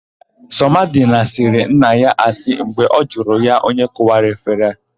Sọmadịna sịrị nna ya asị mgbe ọ jụrụ ya onye kụwara efere.